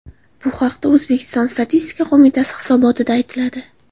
Bu haqda O‘zbekiston Statistika qo‘mitasi hisobotida aytiladi .